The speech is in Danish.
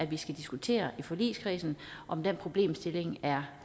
vi skal diskutere i forligskredsen om den problemstilling er